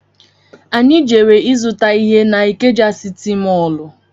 Anyị jere izuta ihe na Ikeja sịtị mọlụ